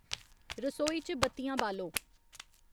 रसोई च बत्तियां बालो